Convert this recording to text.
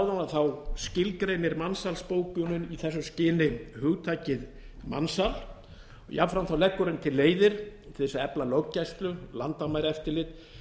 áðan skilgreinir mansalsbókunin í þessu skyni hugtakið mansal jafnframt leggur hún til leiðir til þess að efla löggæslu landamæraeftirlit